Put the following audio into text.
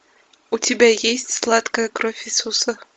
у тебя есть сладкая кровь иисуса